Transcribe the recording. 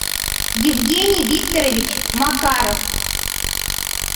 евгений викторович макаров